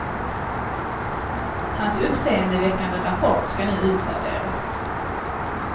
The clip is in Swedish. Hans uppseendeväckande rapport ska nu utvärderas.